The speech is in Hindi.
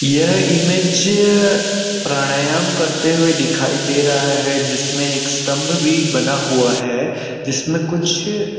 यह इमेज प्राणायाम करते हुए दिखाई दे रहा है जिस में भी एक स्तंम्भ भी बना हुआ है जिसमे कुछ--